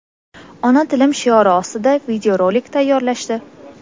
ona tilim shiori ostida video rolik tayyorlashdi.